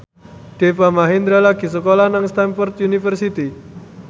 Deva Mahendra lagi sekolah nang Stamford University